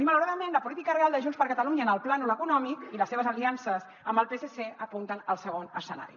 i malauradament la política real de junts per catalunya en el plànol econòmic i les seves aliances amb el psc apunten al segon escenari